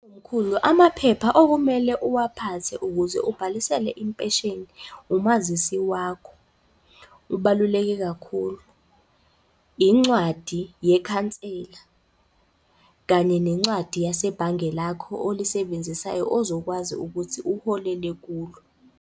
Mkhulu, amaphepha okumele uwaphathe ukuze ubhalisele impesheni, umazisi wakho ubaluleke kakhulu, incwadi yekhansela kanye nencwadi yasebhange lakho olisebenzisayo ozokwazi ukuthi uholele kulo.